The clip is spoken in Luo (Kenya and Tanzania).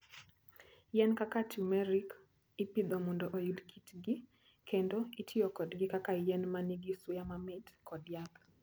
Yien kaka turmeric ipidho mondo oyud kitgi, kendo itiyo kodgi kaka yien ma nigi suya mamit kod yath.